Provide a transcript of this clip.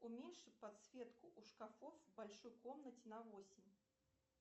уменьши подсветку у шкафов в большой комнате на восемь